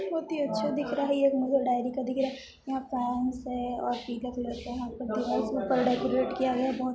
बहुत ही अच्छा दिख रहा है ये एक मदर डायरी का दिख रहा है यहाँ है और पीला कलर का है यहाँ पर ऊपर डेकोरेट किया है बहुत --